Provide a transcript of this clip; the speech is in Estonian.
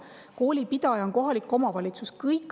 Koolipidaja on kohalik omavalitsus.